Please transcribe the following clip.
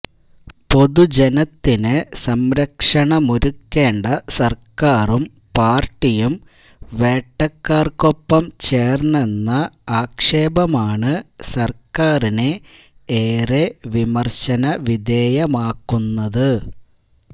പൊതുജനത്തിന് സംരക്ഷണമൊരുക്കേണ്ട സർക്കാരും പാർട്ടിയും വേട്ടക്കാർക്കൊപ്പം ചേർന്നെന്ന ആക്ഷേപമാണ് സർക്കാരിനെ ഏറെ വിമർശനവിധേയമാക്കുന്നത്